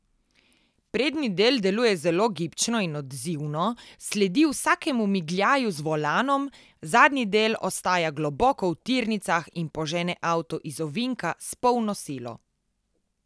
Prednji del deluje zelo gibčno in odzivno sledi vsakemu migljaju z volanom, zadnji del ostaja globoko v tirnicah in požene avto iz ovinka s polno silo.